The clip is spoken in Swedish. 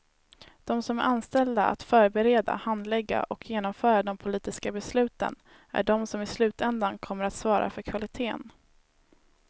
De som är anställda att förbereda, handlägga och genomföra de politiska besluten är de som i slutändan kommer att svara för kvalitén.